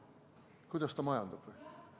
Kuidas ta majandab?